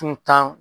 Tun kan